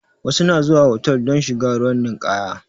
Wasu na zuwa hotal don shiga ruwan ninkaya